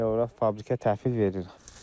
Elə ora fabrikə təhvil veririk.